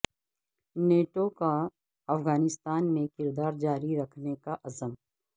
NATO کا افغانستان میں کردار جاری رکھنے کا عزم